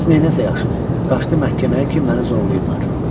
Qız neynəsə yaxşıdır, qaçdı məhkəməyə ki, məni zorlayıblar.